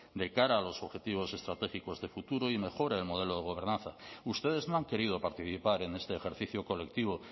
de cara a los objetivos estratégicos de futuro y mejora el modelo de gobernanza ustedes no han querido participar en este ejercicio colectivo